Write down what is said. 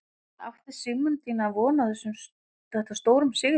En átti Sigmundína von á þetta stórum sigri?